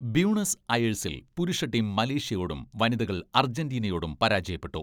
Buenos അയേഴ്സിൽ പുരുഷ team മലേഷ്യയോടും വനിതകൾ അർജന്റീനയോടും പരാജയപ്പെട്ടു.